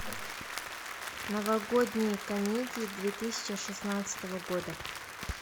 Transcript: новогодние комедии две тысячи шестнадцатого года